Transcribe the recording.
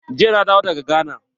Jiya na dawo daga gana.